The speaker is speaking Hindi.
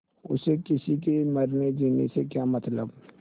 उसे किसी के मरनेजीने से क्या मतलब